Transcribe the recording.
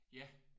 Ja